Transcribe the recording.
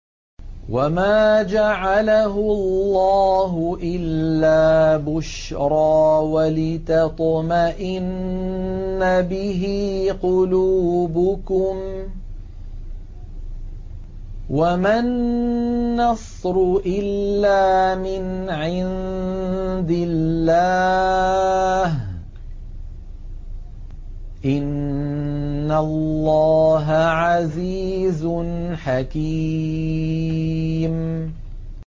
وَمَا جَعَلَهُ اللَّهُ إِلَّا بُشْرَىٰ وَلِتَطْمَئِنَّ بِهِ قُلُوبُكُمْ ۚ وَمَا النَّصْرُ إِلَّا مِنْ عِندِ اللَّهِ ۚ إِنَّ اللَّهَ عَزِيزٌ حَكِيمٌ